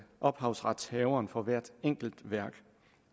ophavsretshaveren for hvert enkelt værk